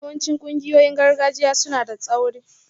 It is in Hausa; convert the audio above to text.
Yawancin ƙungiyoyin gargajiya suna da tsauri